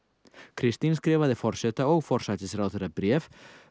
Kristín skrifaði forseta og forsætisráðherra bréf